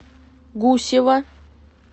гусева